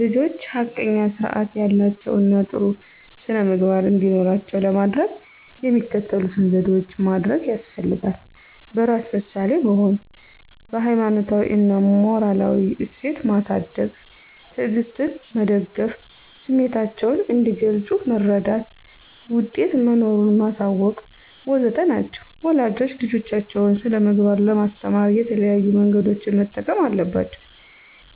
ልጆች ሐቀኛ ስርአት ያላቸው እና ጥሩ ስነምግባር እንዲኖራቸው ለማደረግ የሚከተሉትን ዘዴዎች ማደርግ ያስፈልጋል። በራስ ምሳሌ መሆን፣ በሀይማኖታዊ እና ሞራላዊ እሴት ማሳድግ፣ ትዕግስትን መደገፍ፣ ስሚታቸውን እንዲገልጽ መረዳት፣ ውጤት መኖሩን ማሳወቅ.. ወዘተ ናቸው ወላጆች ልጆቻቸውን ስነምግባር ለማስተማር የተለያዩ መንገዶችን መጠቀም አለባቸው